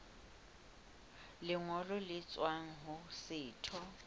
lengolo le tswang ho setho